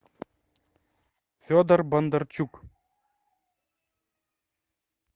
федор бондарчук